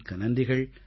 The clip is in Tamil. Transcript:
மிக்க நன்றிகள்